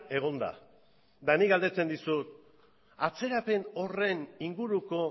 egon da eta nik galdetzen dizut atzerapen horren inguruko